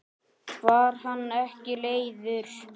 Var hann ekki leiður?